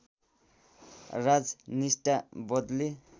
राज निष्ठा बदले